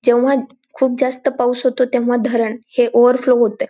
जेव्हा खूप जास्त पाऊस होतो तेव्हा धरण हे ओवर फ्लो होतय.